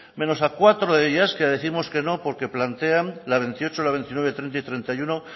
menos a cuatro de ellas que décimos que no porque la veintiocho la veintinueve treinta y treinta y uno